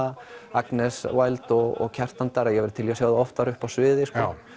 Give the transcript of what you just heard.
Agnes Wild og Kjartan Darri ég væri til í að sjá þau oftar uppi á sviði